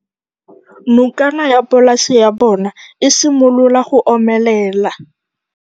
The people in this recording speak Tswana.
Nokana ya polase ya bona, e simolola go omelela.